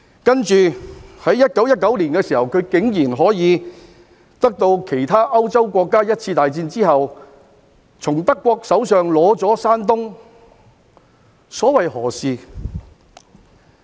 接着，在1919年，她竟然可以像其他歐洲國家在一次大戰後一樣，從德國手上取得山東，所謂何事？